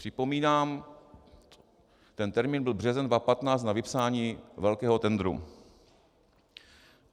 - Připomínám, ten termín byl březen 2015 na vypsání velkého tendru.